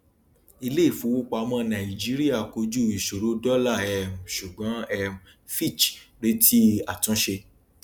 iléìfowópamọ nàìjíríà kojú ìṣòro dọlà um ṣùgbọn um fitch retí àtúnṣe